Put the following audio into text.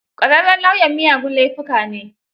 Ƙwararren lauyan miyagun laifuka ne.